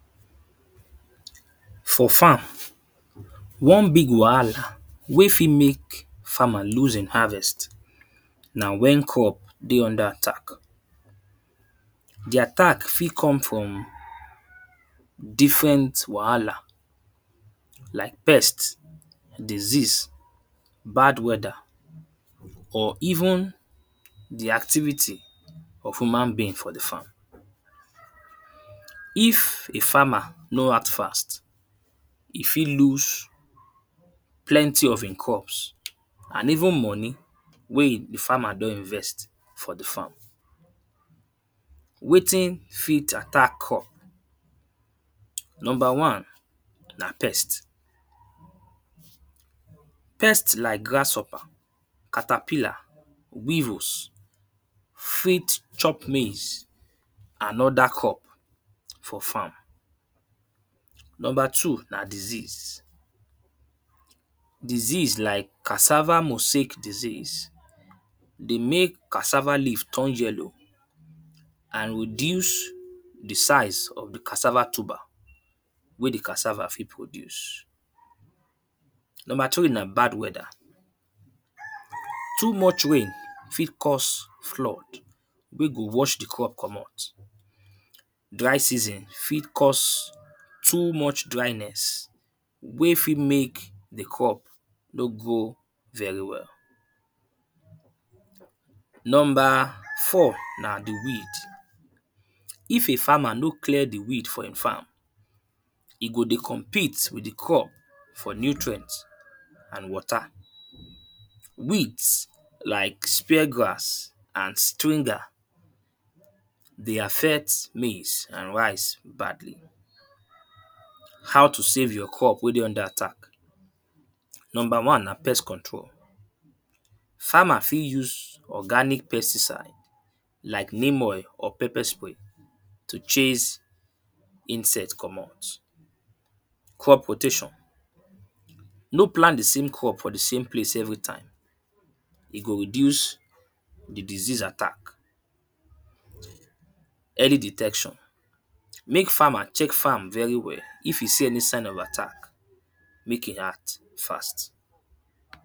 For farm one big wahala wey fit make farmer lose e harvest na when crop dey under attack. The attack fit come from different wahala like pest disease, bad weather or even their activity of human being for the farm. If a farmer no act fast e fit lose plent of im crops and even money wey e the farmer don invest for the farm. Wetin fit attack crop? Number one na pest. Pest like grasshopper, caterpiller weevils fit chop maize and other crop for farm. Number two na disease. Disease like cassava mosaic disease dey make cassava leaf turn yellow and reduce the size of the cassava tuber wey the cassava fit produce. Number three na bad weather. Too much rain fit cause flood wey go wash the crop comot. Dry season fit cause too much dryness wey fit make the crop no grow very well. Number four na the weed. If a farmer no clear the weed for im farm, e go dey compete with the crop for nutrient and water. Weeds like spear grass and stringer dey affect maize and rice How to save your crops wey dey under attack? Number one na pest control. Farmer fit use organic pesticide neem oil or pepper spray to chase insect comot. Crop rotation no plant the same crop for the place everytime e go reduce the disease attack. Early detection make farmer check farm very well if e see any sign of attack, make e act fast.